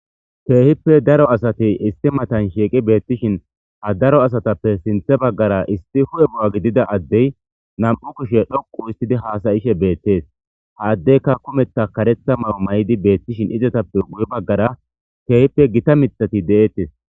Keehippe daro asati isti matan shiiqi beettishin ha daro asatappe sinthe baggara isti hu'e bu'a gidida addey nam'u kishe dhoqu istidi haasayishe beettees ha addekka kumetha karetha may'o may'idi beettishin izatappe gu'e baggara keehippe gita mixati de'eettes.